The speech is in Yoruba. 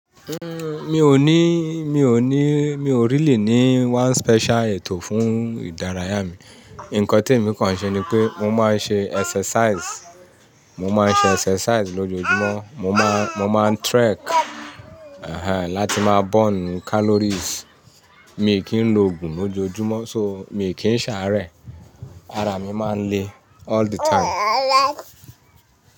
Uhm, mi ò ní, mi ò ní, mi ò really ní one special ètò fún ìdárayá mi. Ǹkan tí èmi kan ṣe ni pé mo máa ń ṣe exercise, mo máa ń ṣe exercise lójoojúmọ́, mo máa, mo máa ń trek, ehen, láti máa burn calories. Mi kì í lòògùn lójoojúmọ́ so mi kì í ṣàárẹ̀. Ara mi máa ń le all the time.